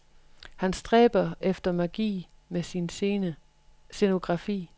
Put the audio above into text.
Han stræber efter magi med sin scenografi.